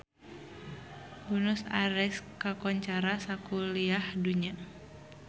Buenos Aires kakoncara sakuliah dunya